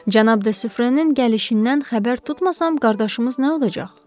Cənab de Sufrənin gəlişindən xəbər tutmasam, qardaşımız nə olacaq?